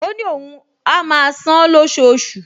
Ó ní òun á máa san-án lóṣooṣù